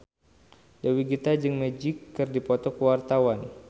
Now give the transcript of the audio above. Dewi Gita jeung Magic keur dipoto ku wartawan